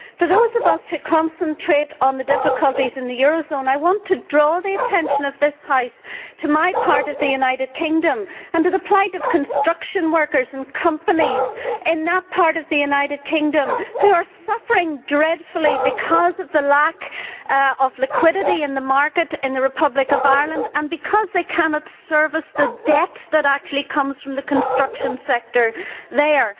For those of us who concentrate on the difficulties in the eurozone, I want to draw the attention of this House to my part of the United Kingdom and to the plight of construction workers and companies there who are suffering dreadfully because of the lack of liquidity in the market in the Republic of Ireland, and because they cannot service the debt that originates in the construction sector there.